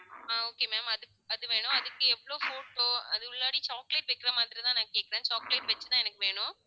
ஆஹ் okay ma'am அது அது வேணும் அதுக்கு எவ்வளவு photo அது உள்ளாற chocolate வைக்கிற மாதிரிதான் நான் கேட்கிறேன் chocolate வச்சுதான் எனக்கு வேணும்.